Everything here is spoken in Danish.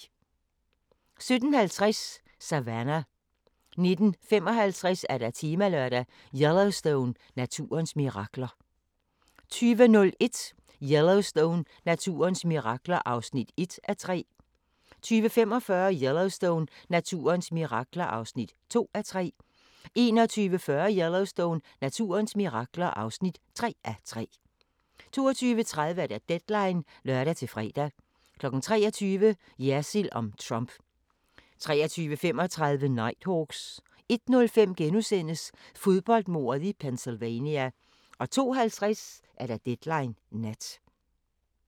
17:50: Savannah 19:55: Temalørdag: Yellowstone – naturens mirakler 20:01: Yellowstone – naturens mirakler (1:3) 20:45: Yellowstone – naturens mirakler (2:3) 21:40: Yellowstone – naturens mirakler (3:3) 22:30: Deadline (lør-fre) 23:00: Jersild om Trump 23:35: Nighthawks 01:05: Fodboldmordet i Pennsylvania * 02:50: Deadline Nat